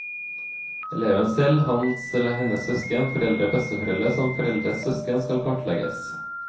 Eleven selv, hans eller hennes søsken, foreldre og besteforeldre samt foreldres søsken skal kartlegges.